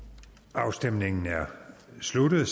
afstemningen slutter